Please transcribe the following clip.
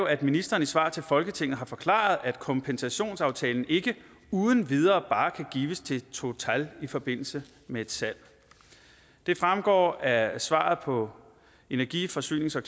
at ministeren i svar til folketinget har forklaret at kompensationsaftalen ikke uden videre bare kan gives til total i forbindelse med et salg det fremgår af svaret på energi forsynings og